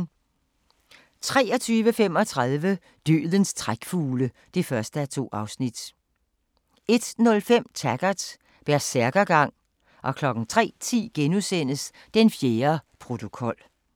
23:35: Dødens trækfugle (1:2) 01:05: Taggart: Bersærkergang 03:10: Den fjerde protokol *